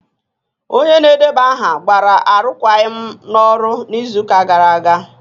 Onye na-edeba aha gbara arụkwaghịm n'ọrụ n'izu ụka gara aga